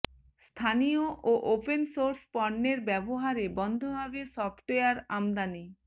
স্থানীয় ও open source পণ্যের ব্যবহারে বন্ধ হবে সফটওয়্যার আমদানি